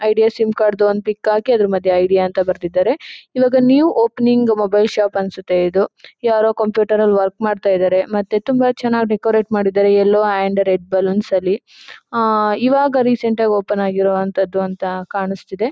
Idea sim card ದು ಒಂದು pic ಹಾಕಿ ಅದರ ಮಧ್ಯೆ ಐಡಿಯಾ ಅಂತ ಬರೆದಿದ್ದಾರೆ. ಇವಾಗ ನ್ಯೂ ಓಪನಿಂಗ್ ಮೊಬೈಲ್ ಶಾಪ್ ಅನಿಸುತ್ತೆ ಇದು ಯಾರೋ ಕಂಪ್ಯೂಟರ್ ನಲ್ಲಿ ವರ್ಕ್ ಮಾಡ್ತಾ ಇದ್ದಾರೆ ಮತ್ತೆ ಎಲ್ಲ ತುಂಬಾ ಚೆನ್ನಾಗಿ ಡೆಕೋರೇಟ್ ಮಾಡಿದ್ದಾರೆ ಎಲ್ಲೊ ಅಂಡ್ ರೆಡ್ ಬೆಲೂನ್ಸ್ ನಲ್ಲಿ . ಆ ಇವಾಗ ರೀಸೆಂಟ್ ಆಗಿ ಓಪನ್ ಆಗಿರೋವಂತದ್ದು ಅಂತ ಕಾಣಿಸ್ತಾ ಇದೆ.